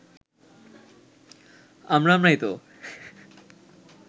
আমরা আমরাই তো